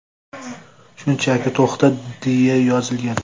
Shunchaki to‘xta” deya yozilgan.